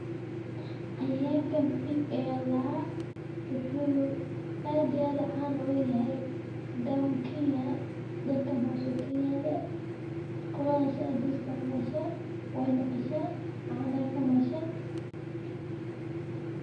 Cayayaanka Pig ayaa la daaha wuxuu aad iyo aad caan ogoyahay Down kenya. Dhalkan hoose u kenyadha qoladhas aad uu isticmaasho way naqashaan caana ka mashan.